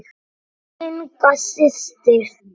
Inga systir.